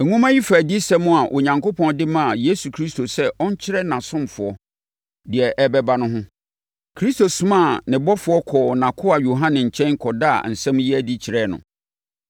Nwoma yi fa adiyisɛm a Onyankopɔn de maa Yesu Kristo sɛ ɔnkyerɛ nʼasomfoɔ deɛ ɛrebɛba no ho. Kristo somaa ne ɔbɔfoɔ kɔɔ nʼakoa Yohane nkyɛn kɔdaa asɛm yi adi kyerɛɛ no,